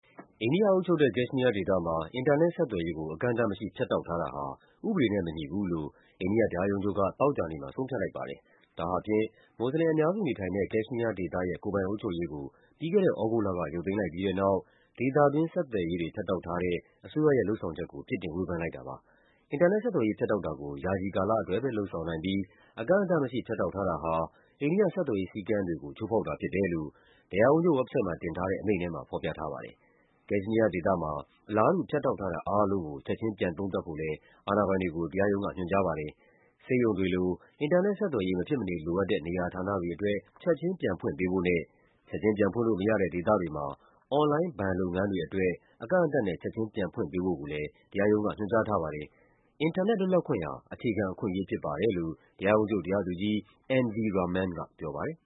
အိန္ဒိယအုပ်ချုပ်တဲ့ ကက်ရှ်မီးယားဒေသမှာ အင်တာနက်ဆက်သွယ်ရေးကို အကန့်အသတ်မရှိ ဖြတ်တောက်ထားတာဟာ ဥပဒေနဲ့ မညီဘူးလို့ အိန္ဒိယ တရားရုံးချုပ်က သောကြာနေ့မှာ ဆုံးဖြတ်လိုက်တဲ့အကြောင်း ရိုက်တာသတင်းတပုဒ်မှာ ဖော်ပြထားပါတယ်။ ဒါဟာဖြင့် မွတ်ဆလင်အများစုနေထိုင်တဲ့ ကက်ရှ်မီး ယားဒေသရဲ့ ကိုယ်ပိုင်အုပ်ချုပ်ရေးကို ပြီးခဲ့တဲ့သြဂုတ်လက ရုပ်သိမ်းလိုက်ပြီးတဲ့နောက် ဒေသတွင်း ဆက်သွယ်ရေးတွေ ဖြတ်တောက်ထားတဲ့ အစိုးရရဲ့ လုပ်ဆောင်ချက်ကို ပြစ်တင် ဝေဖန်လိုက်တာပါပဲ။ အင်တာနက် ဆက်သွယ်ရေး ဖြတ်တောက်တာကို ယာယီကာလအတွက်ပဲ လုပ်ဆောင်နိုင်ပြီး အကန့်အသတ်မရှိ ဖြတ်တောက် ထားတာဟာ အိန္ဒိယ ဆက်သွယ်ရေးစည်းကမ်းတွေကို ချိုးဖောက်တာဖြစ်တယ်လို့ တရားရုံးချုပ် ဝက်ဘ်ဆိုက်တ်မှာ တင်ထားတဲ့ အမိန့်ထဲမှာ ဖော်ပြထားပါတယ်။ ကက်ရှ်မီးယားဒေသမှာ အလားတူ ဖြတ်တောက်ထားတာအားလုံးကို ချက်ခြင်း ပြန်သုံးသပ်ဖို့လည်း အာဏာပိုင်တွေကို တရားရံုံး က ညွှန်ကြားပါတယ်။ ဆေးရုံတွေလို အင်တာနက်ဆက်သွယ်ရေး မဖြစ်မနေလိုအပ်တဲ့ နေရာဌာနတွေအတွက် ချက်ချင်း ပြန်ဖွင့်ပေးဖို့နဲ့ ချက်ချင်း ပြန်ဖွင့်လို့မရတဲ့ ဒေသတွေမှာ အွန်လိုင်းဘဏ်လုပ်ငန်းတွေအတွက် အကန့်အသတ်နဲ့ ချက်ချင်းပြန်ဖွင့်ပေးဖို့လည်း တရားရုံးက ညွှန်ကြားထားပါတယ်။ “အင်တာနက်လွတ်လပ်ခွင့်ဟာ အခြေခံအခွင့်အရေးဖြစ်ပါတယ်” လို့ တရားရုံးချုပ် တရားသူကြီး N. V. Raman က ပြောပါတယ်